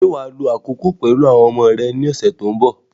Ṣé wà á lo àkókò pẹ̀lú àwọn ọmọ rẹ ní ọ̀sẹ̀ tí ó ń bọ̀?